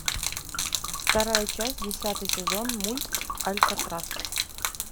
вторая часть десятый сезон мульт алькатрас